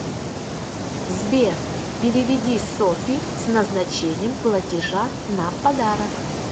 сбер переведи софи с назначением платежа на подарок